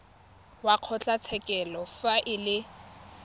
wa kgotlatshekelo fa e le